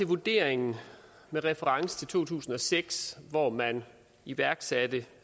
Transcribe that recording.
vurderingen med reference til to tusind og seks hvor man iværksatte